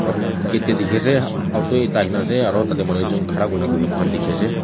gate dae tiki ase auto ekta aina ase aro tate manu ekjun khara kurna bui mo kan tiki ase.